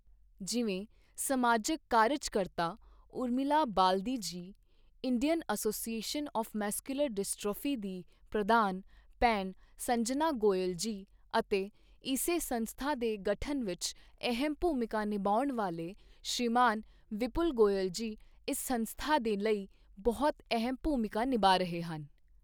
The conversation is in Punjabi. ਜਿਵੇਂ ਸਮਾਜਿਕ ਕਾਰਜਕਰਤਾ, Urmila Baldi ji, Indian Association of Muscular Dystrophy ਦੀ ਪ੍ਰਧਾਨ ਭੈਣ ਸੰਜਨਾ ਗੋਇਲ ਜੀ ਅਤੇ ਇਸੇ ਸੰਸਥਾ ਦੇ ਗਠਨ ਵਿੱਚ ਅਹਿਮ ਭੂਮਿਕਾ ਨਿਭਾਉਣ ਵਾਲੇ ਸ਼੍ਰੀਮਾਨ ਵਿਪੁਲ ਗੋਇਲ ਜੀ, ਇਸ ਸੰਸਥਾ ਦੇ ਲਈ ਬਹੁਤ ਅਹਿਮ ਭੂਮਿਕਾ ਨਿਭਾ ਰਹੇ ਹਨ।